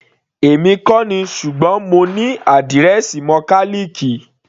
Èmi kò ní, ṣùgbọ́n mo ní àdírẹ́ẹ̀sì mọkálìkì.